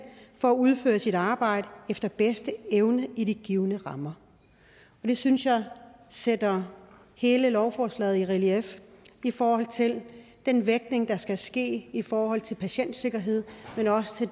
for at udføre sit arbejde efter bedste evne i de givne rammer det synes jeg sætter hele lovforslaget i relief i forhold til den vægtning der skal ske i forhold til patientsikkerhed men også i